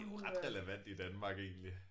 Det ret relevant i Danmark egentlig